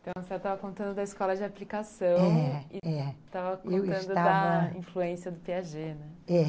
Então, estava contando da escola de aplicação, é, é, e estava contando da influência do Piaget, né, é.